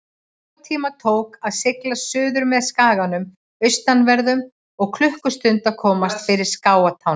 Tvo tíma tók að sigla suðurmeð skaganum austanverðum og klukkustund að komast fyrir skagatána.